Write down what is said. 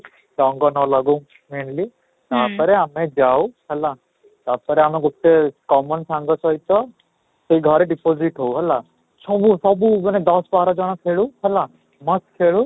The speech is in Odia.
ରଙ୍ଗ ନ ଲାଗୁ mainly ତାପରେ ଆମେ ଯାଉ ହେଲା ତାପରେ ଆମେ ଗୋଟେ common ସାଙ୍ଗ ସହିତ ସେଇ ଘରେ deposit ହଉ ହେଲା, ସବୁ ସବୁ ମାନେ ଦଶ ବାର ଜଣ ଖେଳୁ ହେଲା ମସ୍ତ ଖେଳୁ